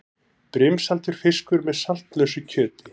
Brimsaltur fiskur með saltlausu kjöti.